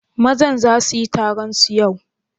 Mazan za su yi taron su yau?